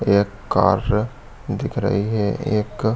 एक कार दिख रही है। एक--